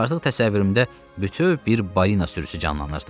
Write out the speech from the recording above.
Artıq təsəvvürümdə bütöv bir balina sürüsü canlanırdı.